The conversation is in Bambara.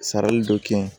Sarali dɔ kɛ yen